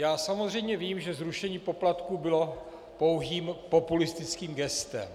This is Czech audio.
Já samozřejmě vím, že zrušení poplatků bylo pouhým populistickým gestem.